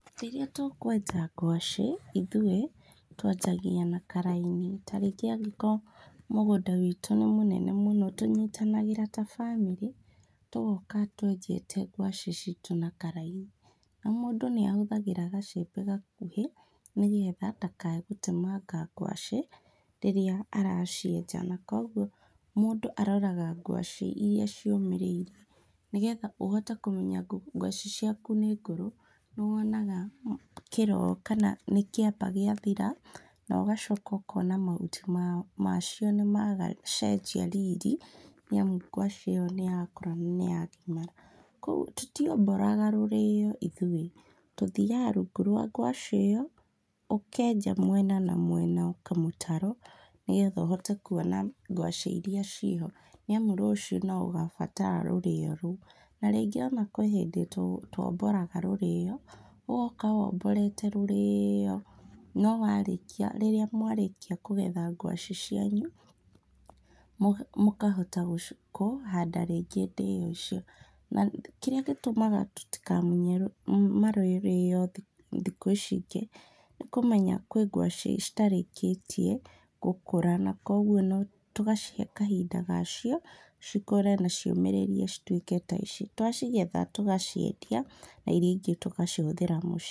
Rĩrĩa tũkwenja ngwacĩ, ithuĩ, twanjagia na karaini, tarĩngĩ angĩkorwo mũgũnda witũ nĩ mũnene mũno, tũnyitanagĩra ta bamĩrĩ, tũgoka twenjete ngwacĩ citũ na karaini, o mũndũ nĩahũthagĩra gacembe gakuhĩ nĩgetha ndakae gũtemanga ngwacĩ, rĩrĩa aracienja na koguo mũndũ aroraga ngwacĩ iria ciũmĩrĩirie nĩgetha úhote kũmenya ngwacĩ ciaku nĩ ngũrũ, nĩwonaga kĩro kana nĩkĩamba gĩathira, nogacoka ũkona mahuti ma macio nĩmaga cenjia riri, rĩu ngwacĩ ĩyo nĩyakũra na nĩyagimara, koguo tũtiambũraga mĩrĩo ithuĩ, tũthiaga rungu rwa ngwacĩ ĩyo, ũkenja mwena na mwena kamũtaro, nĩgetha ũhote kuona ngwacĩ iria ciĩho, nĩamu rũciũ noũgabatara rũrĩo rũu, na rĩngĩ ona kwĩ hĩndĩ twambũraga rũrĩo rũu, ũgoka wambũrĩte rũrĩo, no warĩkia rĩrĩa mwarĩkia kũgetha ngwacĩ cianyu, mũga mũkahota kũ handa rĩngĩ ndĩo icio, na kĩrĩa gĩtũmaga tũtikamunye mũrĩo thi thikũ ici ingĩ, nĩkũmenya kwĩ ngwacĩ citarĩkĩtie gũkũra na koguo no, tũgacihe kahinda ga cio, cikũre na ciũmírĩrie citwĩke ta ici, twacigetha tũgaciendia, na iria ingĩ tũgacihũthĩra mũciĩ.